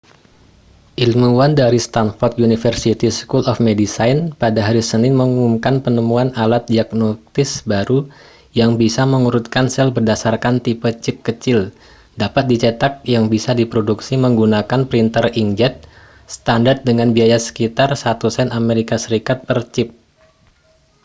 ilmuwan dari stanford university school of medicine pada hari senin mengumumkan penemuan alat diagnostik baru yang bisa mengurutkan sel berdasarkan tipe cip kecil dapat dicetak yang bisa diproduksi menggunakan printer inkjet standar dengan biaya sekitar satu sen as per cip